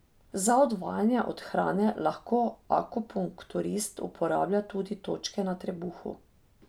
Za odvajanje od hrane lahko akupunkturist uporablja tudi točke na trebuhu.